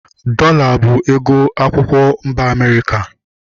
Dọola bụ ego akwụkwọ mba Amerịka